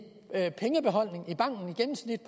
gennemsnit